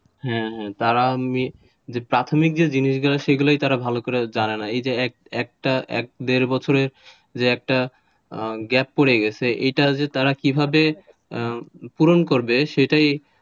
হ্যাঁ হ্যাঁ তারা অমনি যে প্রাথমিক যে জিনিসগুলো সেগুলোই তারা ভালো করে জানে না এই যে এক দেড় বছরের একটা gap পড়ে গেছে এইটা যে তারা কিভাবে পূরণ করবে সেটাই,